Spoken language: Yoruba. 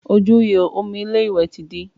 Ojú ìhò omi ilé ìwẹ̀ wa ti dí